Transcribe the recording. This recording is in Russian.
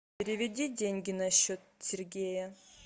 переведи деньги на счет сергея